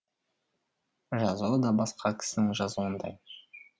жазуы да басқа кісінің жазуындай